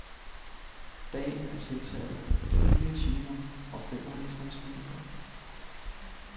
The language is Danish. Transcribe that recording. Dagen er tiltaget med fire timer og femoghalvtreds minutter.